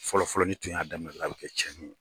Fɔlɔfɔlɔlen n'i tun y'a dɔrɔnw a bɛ kɛ cɛnni ye.